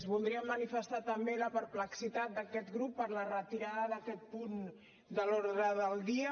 voldria manifestar també la perplexitat d’aquest grup per la retirada d’aquest punt de l’ordre del dia